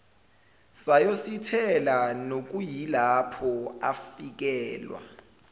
sayosithela nokuyilapho afikelwa